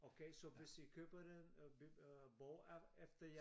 Okay så hvis i køber den øh bog er efter jeg